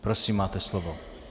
Prosím, máte slovo.